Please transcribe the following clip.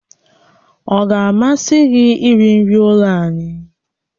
Ọ ga-amasị gị iri nri ụlọ anyị?